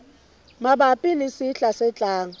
mabapi le sehla se tlang